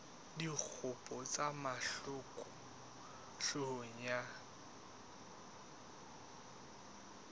dikgopo tsa mahlaku hloohong ya